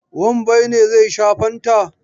Wambai ne zai sha fanta.